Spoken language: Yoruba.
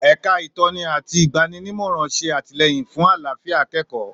èka Itoni àti igbaninimoran ṣé atilẹyin fún àlàfíà akẹẹkọ